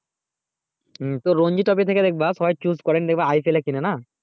হু রঞ্জিত কবে থেকে বুঝবা প্রায় choose করে দেখবা IPL এ কিনে না